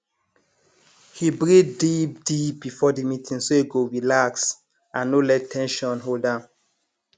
he breathe deepdeep before the meeting so e go relax and no let ten sion hold am